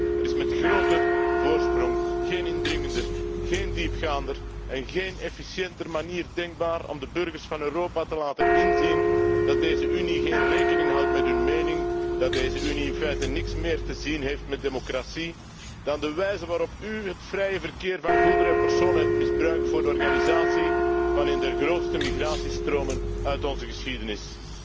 Er is met grote voorsprong geen indringendere, geen diepgaandere en geen efficiëntere manier denkbaar om de burgers van Europa te laten inzien dat deze Unie geen rekening houdt met hun mening, dat deze Unie in feite niets meer te maken heeft met democratie, dan de wijze waarop u het vrije verkeer van goederen en personen hebt misbruikt voor de organisatie van een der grootste migratiestromen uit onze geschiedenis.